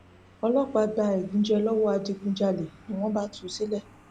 ọlọpàá gba ẹgúnjẹ lọwọ adigunjalè ni wọn bá tú u sílẹ